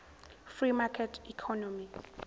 free market economy